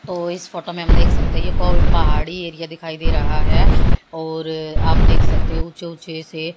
ओ इस फोटो में हम देख सकते हैं एको भी पहाड़ी एरिया दिखाई दे रहा है और आप देख सकते हो ऊंचे ऊंचे से--